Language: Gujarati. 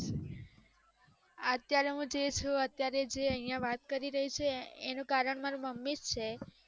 અત્યારે જે હું છું અત્યારે વાત કરી રહી છે એનું કારણ મારા માંરા મમ્મી જ છે.